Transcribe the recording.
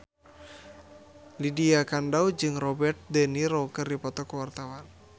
Lydia Kandou jeung Robert de Niro keur dipoto ku wartawan